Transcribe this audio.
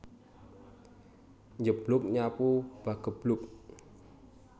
Njeblug nyapu pageblug